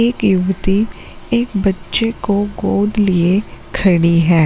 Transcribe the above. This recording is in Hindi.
एक युवती एक बच्चे को गोद लिए खड़ी है।